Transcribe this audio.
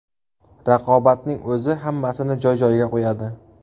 Raqobatning o‘zi hammasini joy-joyiga qo‘yadi.